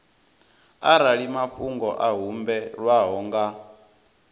arali mafhungo a humbelwaho nga